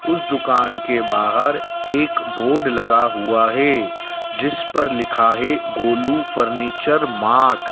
उस दुकान के बाहर एक बोर्ड लगा हुआ है जिस पर लिखा है गोलू फर्नीचर मार्ट ।